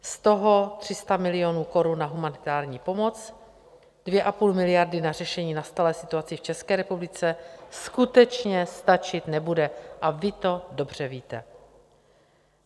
Z toho 300 milionů korun na humanitární pomoc, 2,5 miliardy na řešení nastalé situace v České republice skutečně stačit nebude, a vy to dobře víte.